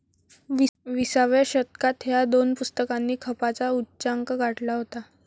विसाव्या शतकात ह्या दोन पुस्तकांनी खपाचा उच्चांक गाठला होता.